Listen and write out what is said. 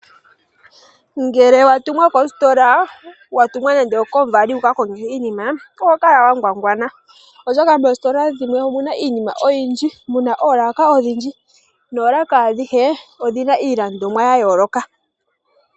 Ngele wa tumwa kositola wa tumwa nande okomuvali wuka konge iinima oho kala wa ngwangwana. Oshoka moositola dhimwe omuna iinima oyindji, muna oolaka odhindji noolaka adhihe odhina iilandomwa ya yooloka.